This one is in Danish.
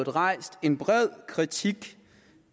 rejst en bred kritik